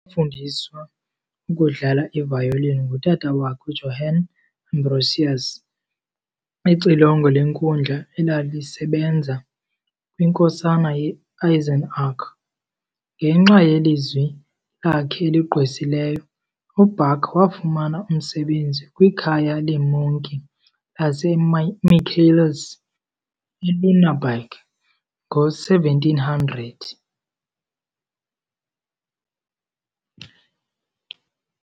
Wafundiswa ukudlala ivayolini ngutata wakhe, uJohann Ambrosius, ixilongo lenkundla elalisebenza kwinkosana ye-Eisenach. Ngenxa yelizwi lakhe eligqwesileyo, uBach wafumana umsebenzi kwikhaya leemonki laseMichaelis eLüneberg ngo-1700.